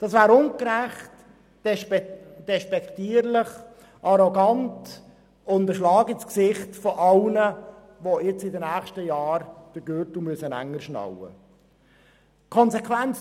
Das wäre ungerecht, despektierlich, arrogant und ein Schlag ins Gesicht all jener, die in den kommenden Jahren den Gürtel enger schnallen müssen.